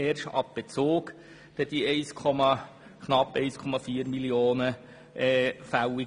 Erst ab Bezug werden die knapp 1,4 Mio. Franken fällig.